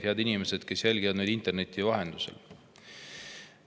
Head inimesed, kes jälgivad meid interneti vahendusel!